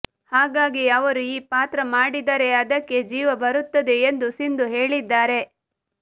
ಹಾಗಾಗಿ ಅವರು ಈ ಪಾತ್ರ ಮಾಡಿದರೆ ಅದಕ್ಕೆ ಜೀವ ಬರುತ್ತದೆ ಎಂದು ಸಿಂಧು ಹೇಳಿದ್ದಾರೆ